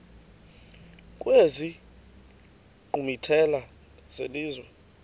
kwezi nkqwithela zelizwe